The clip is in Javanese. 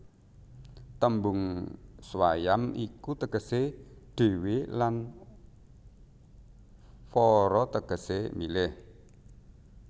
Tembung swayam iku tegesé dhéwé lan vara tegesé milih